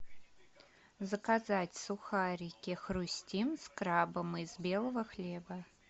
заказать сухарики хрустим с крабом из белого хлеба